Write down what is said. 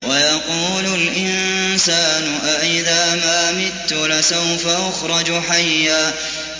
وَيَقُولُ الْإِنسَانُ أَإِذَا مَا مِتُّ لَسَوْفَ أُخْرَجُ حَيًّا